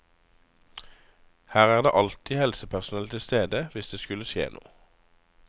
Her er det alltid helsepersonell tilstede hvis det skulle skje noe.